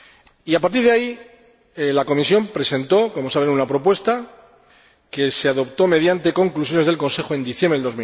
Y, a partir de ahí, la Comisión presentó, como saben, una propuesta que se adoptó, mediante conclusiones del Consejo, en diciembre de